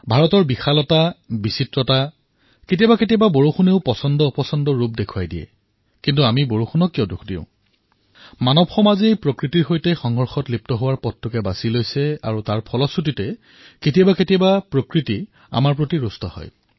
ভাৰতৰ বিশালতা বিবিধতা কেতিয়াবা কেতিয়াবা বৰ্ষাইও পচন্দনাপচন্দৰ ৰূপো দেখুৱায় কিন্তু আমি বৰ্ষাক কিয় দোষ দিম মনুষ্যই কেৱল প্ৰকৃতিৰ সৈতে সংঘৰ্ষৰ পথ নিৰ্বাচন কৰি লৈছে আৰু তাৰ ফলতেই কেতিয়াবা কেতিয়াবা প্ৰকৃতি ৰোষত পৰে